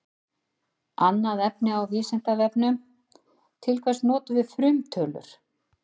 Annað efni á Vísindavefnum: Til hvers notum við frumtölur?